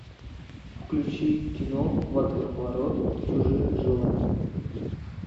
включи кино водоворот чужих желаний